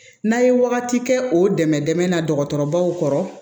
N'a ye wagati kɛ o dɛmɛ dɛmɛ na dɔgɔtɔrɔbaw kɔrɔ